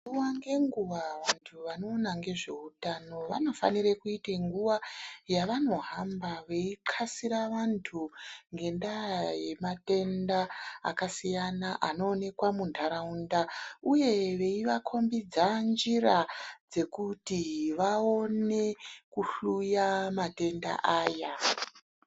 Nguva ngenguva vantu vanoona ngezvehutano, vanofanire kuita nguva yavanohamba veixasira vantu ngendaa yematenda akasiyana anoonekwa munharaunda, uye veivakombidza njira dzekuti vaone kuhluya matenda aya.